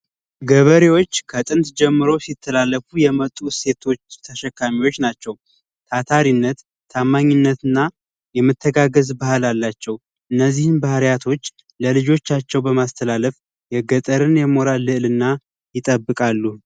ገበሬዎች ከጥንት ጀምሮ ሲተላለፉ የመጡ እሴቶችን ተሸካሚዎች ናቸው ታታሪነት ታማኝነት እና የመተጋገዝ ባህል አላቸው እነዚህን ባህሪያት ለልጆቻቸው በማስተላለፍ የገጠርን የሞራል ልዕልና ይጠብቃሉ።